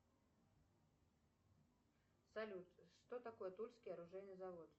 салют что такое тульский оружейный завод